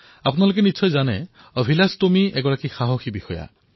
আপোনালোকে জানে যে অভিলাস টোমী এজন সাহসী বীৰ